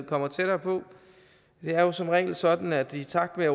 kommer tættere på det er jo som regel sådan at i takt med at